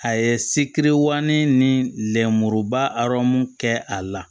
A ye sikiwaani ni lenmuruba arɔmu kɛ a la